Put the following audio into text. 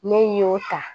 Ne y'o ta